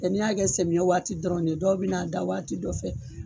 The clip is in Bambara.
n'i y'a kɛ sɛmiyɛ waati dɔrɔn de ye, dɔw bɛ n'a da waati dɔ fɛ